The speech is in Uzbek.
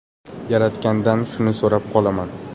Yaratgandan shuni so‘rab qolaman.